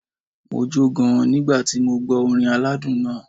Mo jó gan-an nígbà tí mo gbó orin aládùn náà.